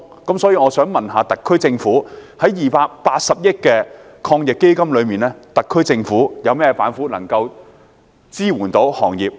因此，我想問在280億元的防疫抗疫基金中，特區政府有何板斧能夠支援漁農業？